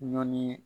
Ɲɔn ni